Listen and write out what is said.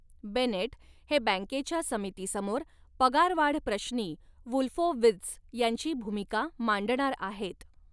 Bennett हे बॅंकेच्या समितीसमोर पगारवाढप्रश्नी वुल्फोवित्झ यांची भूमिका मांडणार आहेत.